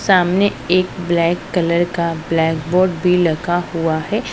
सामने एक black colour का ब्लैक बोर्ड भी लगा हुआ है।